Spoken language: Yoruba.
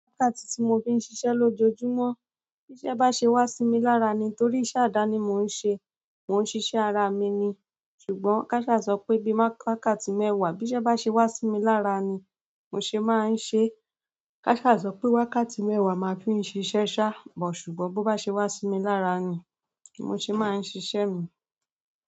Wákàtí tí mo fi ń ṣiṣẹ lójoojúmọ́, bí o bá ṣe wá sí mi lára ni. Nítorí iṣẹ́ àdáni mo ń ṣe, mò ń ṣiṣẹ́ ara mi ni. Ṣùgbọ́n káṣà sọ pé bí wákàtí mẹ́wàá bí iṣẹ́ bá ṣe wá sí mi lára ni mo ṣe máa ń ṣe. Káṣà sọ pé wákàtí mẹ́wàá máa fi ń ṣiṣẹ́ ṣá, buh ṣùgbọ́n bó bá ṣe wá sí mi lára ni mo ṣe máa ń ṣiṣẹ́ mi.